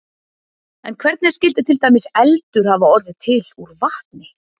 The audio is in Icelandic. En hvernig skyldi til dæmis eldur hafa orðið til úr vatni?